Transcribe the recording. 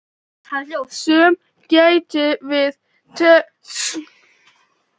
Sumir glottu við tönn og drógu strax úr honum kjarkinn.